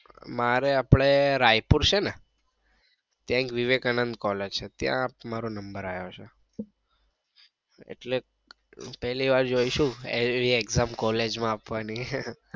મારે આપડે રાયપુર છે ને ત્યાં એક વિવેકાનંદ collage છે ત્યાં મારો number આયો છે એટલે પેલી વાર જોઇશુ એવી exam collage માં આપવાની